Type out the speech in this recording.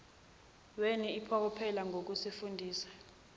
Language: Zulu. weni iphokophele ngokufundisa